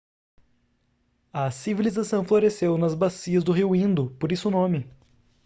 a civilização floresceu nas bacias do rio indo por isso o nome